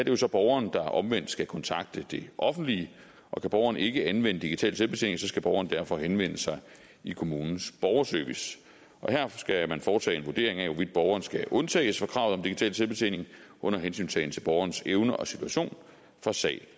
jo så borgeren der omvendt skal kontakte det offentlige og kan borgeren ikke anvende digital selvbetjening skal borgeren derfor henvende sig i kommunens borgerservice her skal man foretage en vurdering af hvorvidt borgeren skal undtages fra kravet om digital selvbetjening under hensyntagen til borgerens evne og situation fra sag